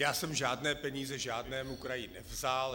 Já jsem žádné peníze žádnému kraji nevzal.